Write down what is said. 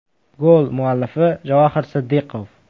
Gol muallifi Javohir Siddiqov.